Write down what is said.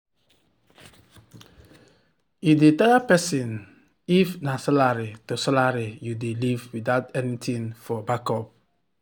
e dey tire person if na salary to salary you dey live without anything for backup.